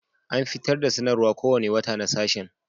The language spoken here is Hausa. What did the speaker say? An fitar da sanarwar kowane wata na sashen